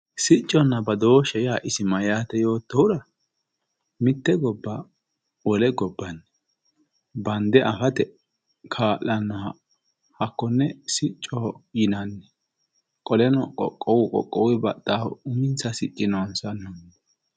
sicconna badooshshe yaa isi maati yootohura mitte gobba wole gobbanni bande afate kaa'lannoha hakkonne siccoho yinanni, qoleno qoqqowu qoqqowuy baxxahu uminsa sicci noonsa.